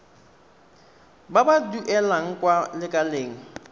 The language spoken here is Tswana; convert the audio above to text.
ba ba duelang kwa lekaleng